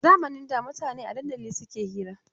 A zamanin da mutane a dandali suke hira.